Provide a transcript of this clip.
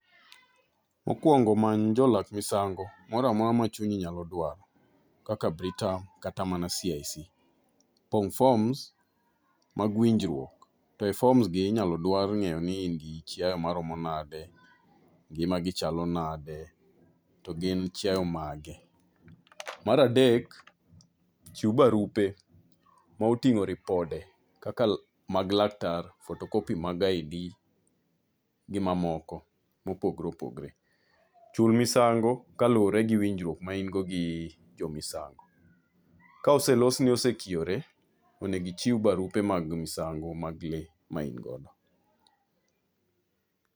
Mokwongo many jolath misango, moramora ma chunyi nyalo dwaro, kaka Britam kata mana CIC. Pong' forms mag winjruok. E forms gi inyalo dwar ngéyo ni in gi chiaye maromo nade, ngimagi chalo nade, to gin chiaye mage. Mar adek, chiw barupe, motingó ripode kaka mag laktar, photocopy mag ID gi ma moko mopogore opogore. Chul misango ka luwore gi winjruok ma in go gi jo misango. Ka oselosni osekiore, onego ichiw barupe mag misango mag le ma in godo.